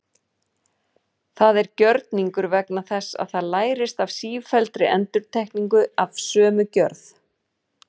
Það er gjörningur vegna þess að það lærist af sífelldri endurtekningu af sömu gjörð.